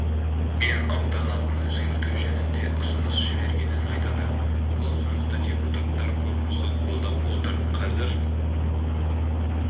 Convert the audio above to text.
мен аудан атын өзгерту жөнінде ұсыныс жібергенін айтады бұл ұсынысты депутаттар корпусы қолдап отыр қазір